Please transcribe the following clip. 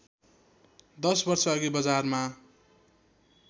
दश वर्षअघि बजारमा